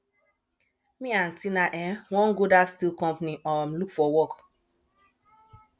me and tina um wan go that steel company um look for work